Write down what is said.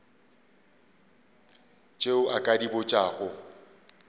tše o ka di botšago